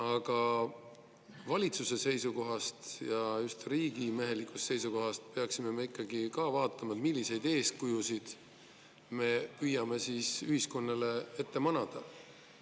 Aga valitsuse seisukohast ja just riigimehelikkuse seisukohast peaksime me ikkagi ka vaatama, milliseid eeskujusid me püüame ühiskonnale ette manada.